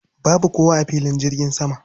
Babu kowa a filin jirgin sama.